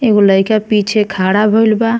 एगो लइका पीछे खड़ा भईल बा।